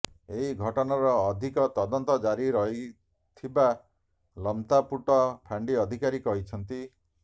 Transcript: ଏହି ଘଟଣାର ଅଧିକ ତଦନ୍ତ ଜାରି ରହିଥିବା ଲମତାପୁଟ ଫାଣ୍ଡି ଅଧିକାରୀ କହିଛନ୍ତି